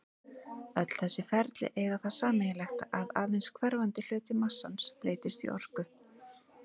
Öll þessi ferli eiga það sameiginlegt að aðeins hverfandi hluti massans breytist í orku.